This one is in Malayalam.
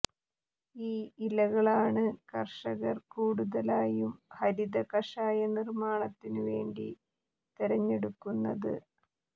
ഈ ഇലകളാണ് കർഷകർ കൂടുതലായും ഹരിത കഷായ നിർമാണത്തിനു വേണ്ടി തെരഞ്ഞെടുക്കുന്നത്